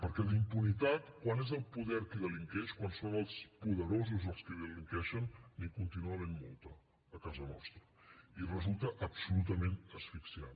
perquè d’impunitat quan és el poder qui delinqueix quan són els poderosos els qui delinqueixen n’hi continua havent molta a casa nostra i resulta absolutament asfixiant